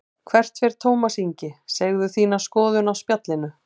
Hvert fer Tómas Ingi, segðu þína skoðun á Spjallinu